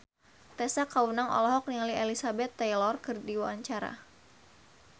Tessa Kaunang olohok ningali Elizabeth Taylor keur diwawancara